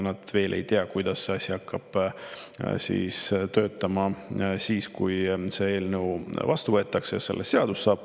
Nad veel ei tea, kuidas see asi hakkab töötama, kui eelnõu vastu võetakse ja sellest seadus saab.